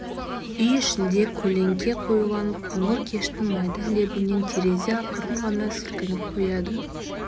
үй ішінде көлеңке қоюланып қоңыр кештің майда лебінен терезе ақырын ғана сілкініп қояды